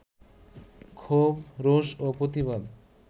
ক্ষোভ, রোষ ও প্রতিবাদ